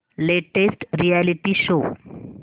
latest reality show